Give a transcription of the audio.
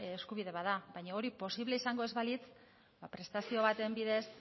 eskubide bat da baina hori posible izango ez balitz prestazio baten bidez